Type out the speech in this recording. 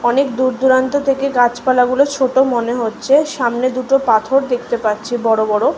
অনেক দূর-দূরান্ত থেকে গাছপালাগুলো ছোট মনে হচ্ছে সামনে দুটো পাথর দেখতে পাচ্ছি বড় বড়।